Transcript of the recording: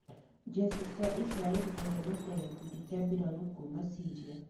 Njeci cia Isiraeri kũhonokia gĩkundi gĩa mbĩrarũ kuma Syria.